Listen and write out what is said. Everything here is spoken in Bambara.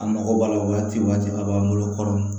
An mago b'a la waati waati a b'an bolo kɔrɔ